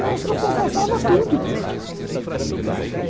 Eu acho que eu confessava tudo.